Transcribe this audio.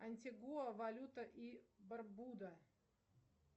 антигоа валюта и барбуда